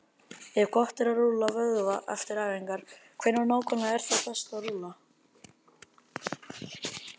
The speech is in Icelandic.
Ef gott er að rúlla vöðva eftir æfingar, hvenær nákvæmlega er þá best að rúlla?